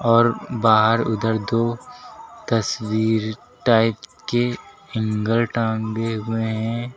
और बाहर उधर दो तस्वीर टाइप के हैंगर टांगे हुए है।